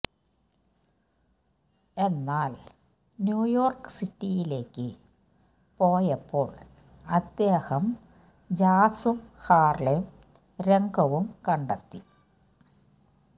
എന്നാൽ ന്യൂയോർക്ക് സിറ്റിയിലേക്ക് പോയപ്പോൾ അദ്ദേഹം ജാസ്സും ഹാർലെം രംഗവും കണ്ടെത്തി